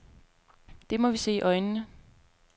Det må vi se i øjnene.